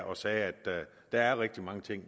og sagde at der er rigtig meget